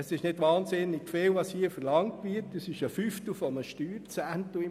Es wird hier nicht sehr viel verlangt, es handelt sich um den Fünftel eines Steuerzehntels.